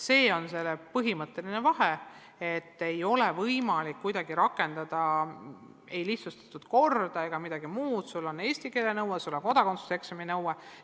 See on põhimõtteline asi: ei ole kuidagi võimalik rakendada lihtsustatud korda, eesti keele oskuse ja kodakondsuse eksami nõue tuleb täita.